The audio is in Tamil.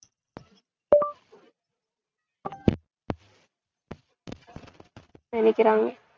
நினைக்கிறாங்க